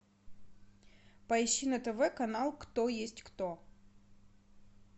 поищи на тв канал кто есть кто